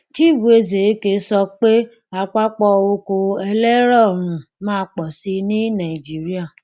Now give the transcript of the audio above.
chibueze eke sọ pé àpapọ oko ẹlẹrọoòrùn máa pọ síi ní nàìjíríà